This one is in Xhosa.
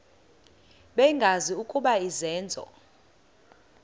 bengazi ukuba izenzo